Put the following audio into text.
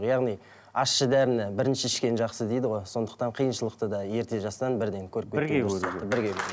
яғни ащы дәріні бірінші ішкен жақсы дейді ғой сондықтан қиыншылықты да ерте жастан бірден көріп кеткен дұрыс бірге көру